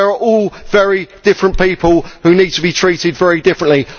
We are all very different people who need to be treated very differently.